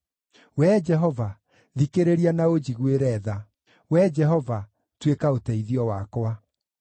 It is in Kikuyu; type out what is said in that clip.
Wee Jehova, thikĩrĩria na ũnjiguĩre tha; Wee Jehova, tuĩka ũteithio wakwa.”